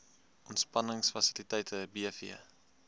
ontspannings fasiliteite bv